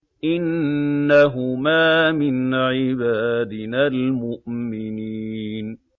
إِنَّهُمَا مِنْ عِبَادِنَا الْمُؤْمِنِينَ